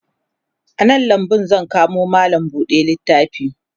a nan lambu zan kamo mallam buɗe littafi